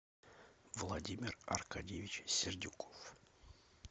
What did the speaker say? владимир аркадьевич сердюков